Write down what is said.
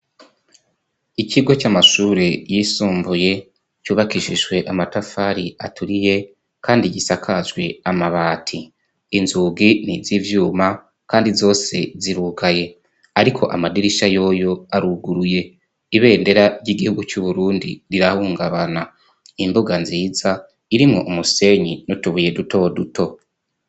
Ikirwe c'amashure yisumbuye cubakishishwe amatafari aturiye, kandi yisakajwe amabati inzugi ni zo ivyuma, kandi zose zirugaye, ariko amadirisha yoyo aruguruye ibendera ry'igihugu c'uburundi rirahungabana imbuga nzire iza irimwo umusenyi no tubiye duto o duto.